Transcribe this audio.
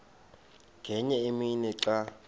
ngenye imini xa